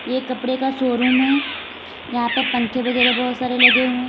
ये कपड़े का शोरूम है यहां पे पंखे वगैरे बहोत सारे लगे हुए--